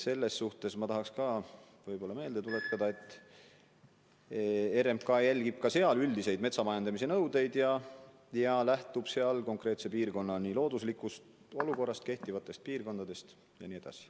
Aga ma tahan meelde tuletada ka seda, et RMK järgib sellisteski kohtades üldiseid metsa majandamise nõudeid ja lähtub konkreetse piirkonna looduslikust olukorrast, kehtivatest piirangutest jne.